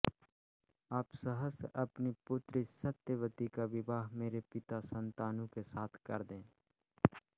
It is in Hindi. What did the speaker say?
आप सहर्ष अपनी पुत्री सत्यवती का विवाह मेरे पिता शान्तनु के साथ कर दें